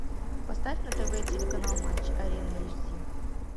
поставь на тв телеканал матч арена эйч ди